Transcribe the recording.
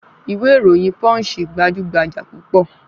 Ìwé ìròyìn Punch gbajúgbajà púpọ̀